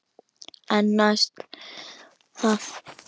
En næst það?